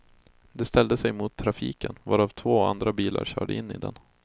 Den ställde sig mot trafiken, varav två andra bilar körde in i den.